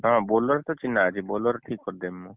ହଁ Bolero ତ ଚିହ୍ନା ଅଛି Bolero ଠିକ କରିଦେମି ମୁଁ